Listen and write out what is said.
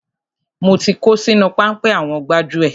Mo ti kó sínú páńpẹ́ àwọn gbájúẹ̀.